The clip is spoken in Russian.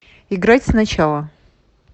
играть сначала